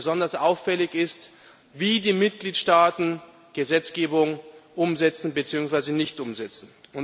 Besonders auffällig ist, wie die Mitgliedstaaten Gesetzgebung umsetzen beziehungsweise nicht umsetzen.